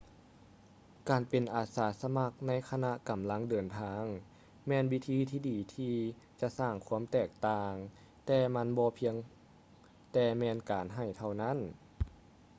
ການເປັນອາສາສະໝັກໃນຂະນະກຳລັງເດີນທາງ ແມ່ນວິທີທີ່ດີທີ່ຈະສ້າງຄວາມແຕກຕ່າງ ແຕ່ມັນບໍ່ພຽງແຕ່ແມ່ນການໃຫ້ເທົ່ານັ້ນ